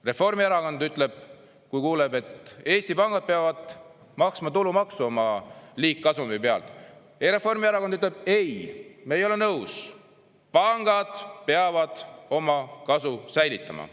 Reformierakond ütleb, kui kuuleb, et Eesti pangad peavad maksma tulumaksu oma liigkasumi pealt, Reformierakond ütleb ei, me ei ole nõus, pangad peavad oma kasu säilitama.